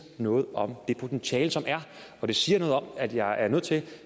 noget om det potentiale som er og det siger noget om at jeg er nødt til en